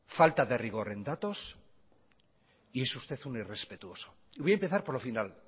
falta de rigor en datos y es usted un irrespetuoso y voy a empezar